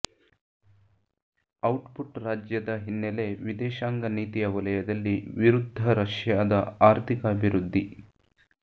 output ರಾಜ್ಯದ ಹಿನ್ನೆಲೆ ವಿದೇಶಾಂಗ ನೀತಿಯ ವಲಯದಲ್ಲಿ ವಿರುದ್ಧ ರಷ್ಯಾದ ಆರ್ಥಿಕ ಅಭಿವೃದ್ಧಿ